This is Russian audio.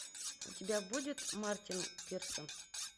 у тебя будет мартин пирсон